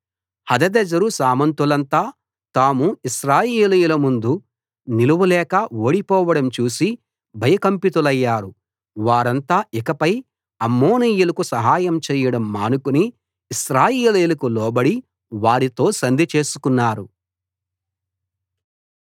హదదెజరు సామంతులంతా తాము ఇశ్రాయేలీయుల ముందు నిలవలేక ఓడిపోవడం చూసి భయకంపితులయ్యారు వారంతా ఇకపై అమ్మోనీయులకు సహాయం చేయడం మానుకుని ఇశ్రాయేలీయులకు లోబడి వారితో సంధి చేసుకున్నారు